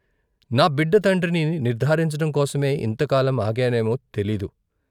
నా బిడ్డ తండ్రిని నిర్ధారించటం కోసమే ఇంతకాలం ఆగానేమో తెలీదు.